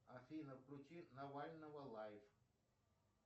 афина включи навального лайф